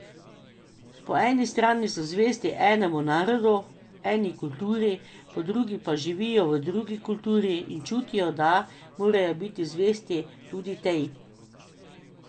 Po eni strani so zvesti enemu narodu, eni kulturi, po drugi pa živijo v drugi kulturi in čutijo, da morajo biti zvesti tudi tej.